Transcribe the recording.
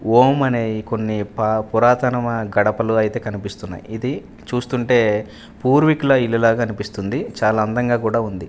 ఓం అనే కొన్ని ప పురాతనమ గడపలు అయితే కనిపిస్తున్నాయి ఇది చూస్తుంటే పూర్వికుల ఇల్లు లాగ అనిపిస్తుంది చాలా అందంగా కూడా ఉంది.